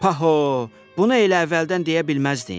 Paho, bunu elə əvvəldən deyə bilməzdin?